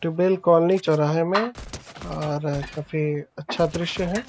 Tubewell colony चौराहे में और काफी अच्छा दृश्य है।